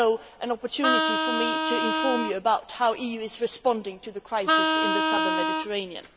an opportunity for me to inform you about how the EU is responding to the crisis in the Southern Mediterranean.